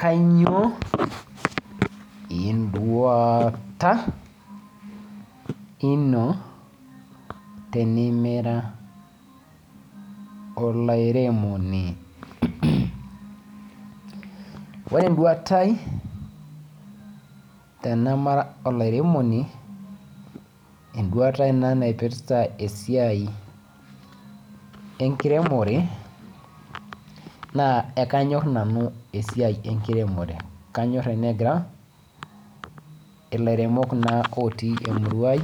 Kainyio enduata eno tenimira olairemoni ore enduata ai tenemara olairemoni enduata naipirta esiai enkiremore naa ekanyor nanu esiai enkiremore kanyor tenigira elairemok otii naa emurua ai